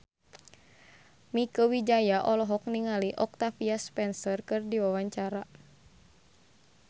Mieke Wijaya olohok ningali Octavia Spencer keur diwawancara